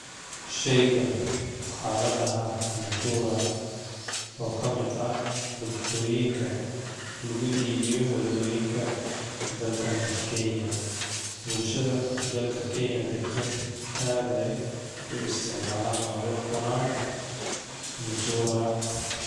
Sheygaani waxa ladaxa mutura o kamid ah, cuntoyinka luguibiyo wadoyinka, dalkani kenya, bulshadha dalka kenya daqto adh ay uisticmalan o ay ucunan, mutura,